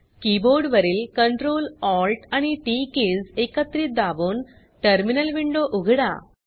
keyboard वरील Ctrl Alt आणि T T keys एकत्रित दाबून टर्मिनल विंडो उघडा